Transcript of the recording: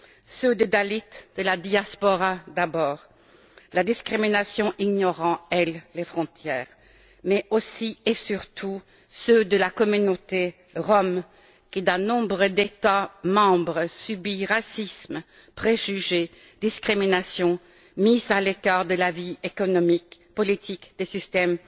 Ceux des dalits, de la diaspora d'abord, la discrimination ignorant, elle, les frontières, mais aussi, et surtout, ceux de la communauté rom qui, dans nombre d'États membres, subit racisme, préjugés, discriminations, mises à l'écart de la vie économique et politique ainsi que des systèmes